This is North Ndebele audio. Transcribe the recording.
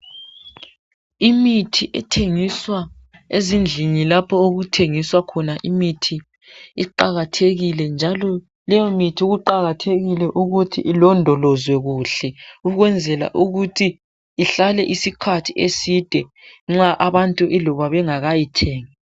Imithi ethengiswa ezindlini lapho okuthengiswa khona imithi iqakathekile njalo leyo mithi kuqakathekile ukuthi ilondolozwe kuhle ukwenzela ukuthi ihlale isikhathi eside nxa abantu iloba bengakayithengi.